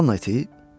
Cuan, niyə?